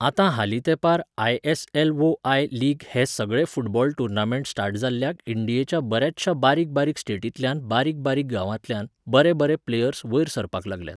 आता हालीं तेंपार आय.एस.एल वो आय. लीग हे सगळे फुटबॉल टुर्नामेंट स्टार्ट जाल्ल्याक इंडियेच्या बऱ्याचशा बारीक बारीक स्टेटींतल्यान, बारीक बारीक गावांतल्यान, बरे बरे प्लेयर्स वयर सरपाक लागल्यात.